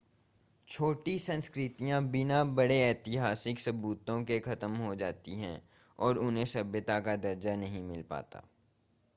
छोटी संस्कृतियां बिना बड़े ऐतिहासिक सबूतों के खत्म हो जाती हैं और उन्हें सभ्यता का दर्जा नहीं मिल पाता